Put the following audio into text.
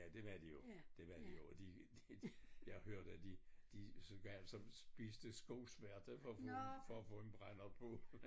Ja det var de jo det var de jo og de de jeg hørte at de de så gav så spiste skosværte for at få for at få en brandert på